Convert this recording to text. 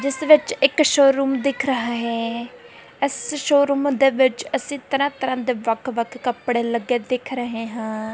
ਜਿਸਦੇ ਵਿੱਚ ਇੱਕ ਸ਼ੋ ਦਿੱਖ ਰਹਾ ਹੈ ਇੱਸ ਸ਼ੋਰੂਮ ਦੇ ਵਿੱਚ ਇੱਸੀ ਤਰ੍ਹਾਂ ਤਰ੍ਹਾਂ ਦੇ ਵੱਖ ਵੱਖ ਕੱਪੜੇ ਲੱਗੇ ਦਿੱਖ ਰਹੇ ਹਾਂ।